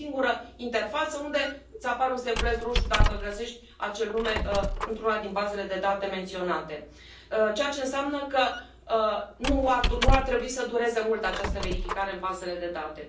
Este o singură interfață unde îți apare un steguleț roșu dacă găsești acel nume într una din bazele de date menționate, ceea ce înseamnă că nu ar trebui să dureze mult această verificare în bazele de date.